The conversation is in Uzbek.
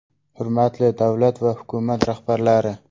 Hurmatli davlat va hukumat rahbarlari!